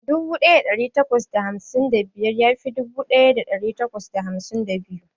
Dubu daya dari takwas da hamsin da biyar ya fi dubu daya dari takwas da hamsin da biyu.